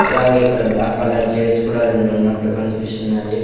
అలాగే ఇక్కడ black colour chairs కుడా రెండున్నట్టు కన్పిస్తున్నాయి.